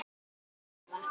Eyrún Eva.